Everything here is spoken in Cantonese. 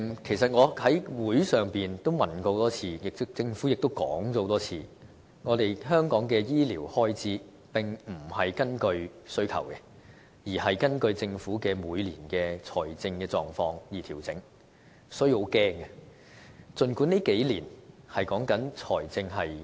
其實我在立法會會上多次提問，而政府也多次重申，香港的醫療開支並非根據需求，而是根據政府每年的財政狀況而調整，所以，這令人感到很害怕。